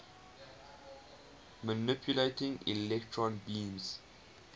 manipulating electron beams